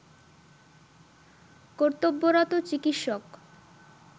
কর্তব্যরত চিকিৎসক